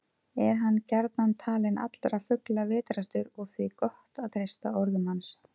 Er hann gjarnan talinn allra fugla vitrastur og því gott að treysta orðum hans.